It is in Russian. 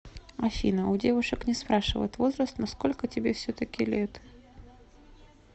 афина у девушек не спрашивают возраст но сколько тебе все таки лет